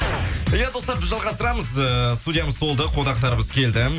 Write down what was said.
иә достар біз жалғастырамыз эээ студиямыз толды қонақтарымыз келді